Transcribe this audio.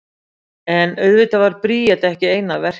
en auðvitað var bríet ekki ein að verki